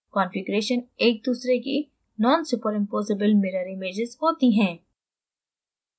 configurations एक दूसरे की nonsuperimposable mirror images होती हैं